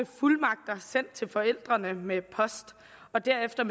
fuldmagter sendt til mine forældre med post og derefter